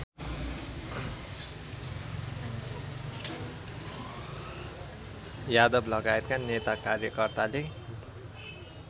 यादवलगायतका नेता कार्यकर्ताले